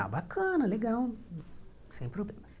Ah, bacana, legal, sem problemas.